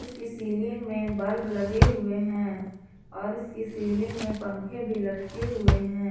इसकी सीलिंग में बल्ब लगे हुए हैं और इसकी सीलिंग में पंखे भी लटके हुए हैं।